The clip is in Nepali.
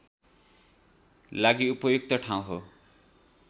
लागि उपयुक्त ठाउँ हो